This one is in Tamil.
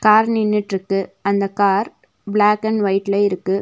கார் நின்னுட்ருக்கு அந்த கார் பிளாக் அண்ட் ஒய்ட்ல இருக்கு.